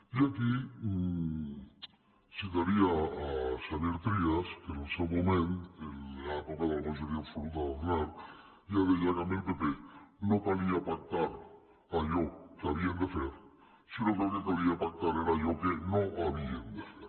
i aquí citaria a xavier trias que en el seu moment en l’època de la majoria absoluta d’aznar ja deia que amb el pp no calia pactar allò que havien de fer sinó que el que calia pactar era allò que no havien de fer